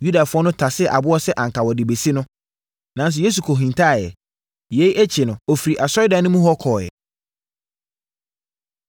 Yudafoɔ no tasee aboɔ sɛ anka wɔde rebɛsi no, nanso Yesu kɔhintaeɛ. Yei akyi no, ɔfirii asɔredan no mu hɔ kɔeɛ.